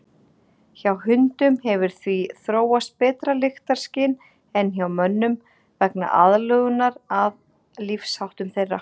Hjá hundum hefur því þróast betra lyktarskyn en hjá mönnum vegna aðlögunar að lífsháttum þeirra.